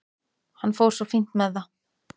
Hann fór svo fínt með það.